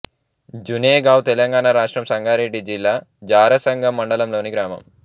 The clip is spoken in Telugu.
జునేగావ్ తెలంగాణ రాష్ట్రం సంగారెడ్డి జిల్లా ఝారసంగం మండలంలోని గ్రామం